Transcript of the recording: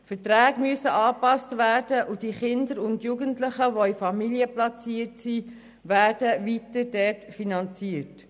Verträge müssen angepasst werden, und die Kinder und Jugendlichen, die in Familien platziert sind, werden weiterhin dort finanziert.